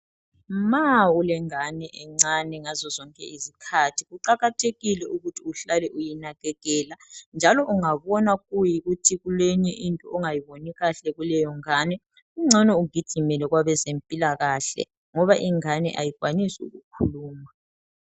Ma ulengane encane ngazozonke izikhathi kuqakathekile ukuthi uhlale uyinakekela njalo ungabona kuyikuthi kuleyinye into ongayiboni kuhle kuleyongane kungcono ugijime kwabezempilakahle ngoba ingane ayikwanisi ukukhuluma.